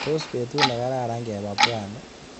Tos betut nekararan keba Pwani?